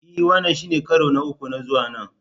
E! Wannan shine karo na uku na zuwa nan.